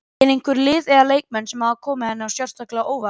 Eru einhver lið eða leikmenn sem hafa komið henni sérstaklega á óvart?